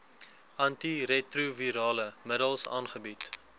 antiretrovirale middels aangebied